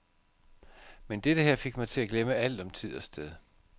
Men dette her fik mig til at glemme alt om tid og sted.